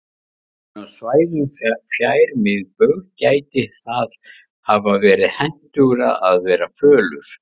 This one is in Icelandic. En á svæðum fjær miðbaug gæti það hafa verið hentugra að vera fölur.